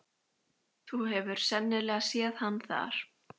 Ég lyfti stubbnum upp að vörunum og tek snöggan smók.